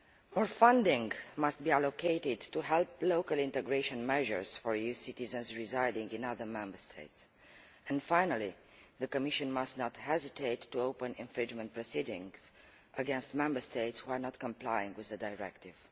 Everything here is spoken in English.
More funding must be allocated to help local integration measures for EU citizens residing in other Member States and, finally, the Commission must not hesitate to open infringement proceedings against Member States who are not complying with the Directive.